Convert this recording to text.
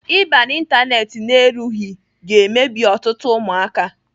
Ịba n'Ịntanet na-erughị ga-emebi ọtụtụ ụmụaka.